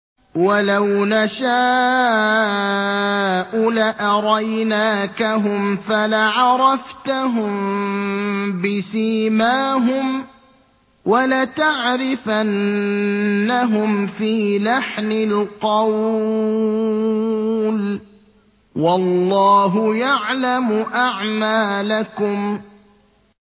وَلَوْ نَشَاءُ لَأَرَيْنَاكَهُمْ فَلَعَرَفْتَهُم بِسِيمَاهُمْ ۚ وَلَتَعْرِفَنَّهُمْ فِي لَحْنِ الْقَوْلِ ۚ وَاللَّهُ يَعْلَمُ أَعْمَالَكُمْ